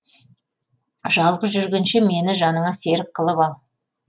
жалғыз жүргенше мені жаныңа серік қылып ал